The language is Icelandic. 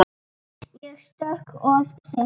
Ég stökk of seint.